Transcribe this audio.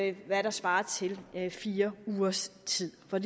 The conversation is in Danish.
i hvad der svarer til fire ugers tid for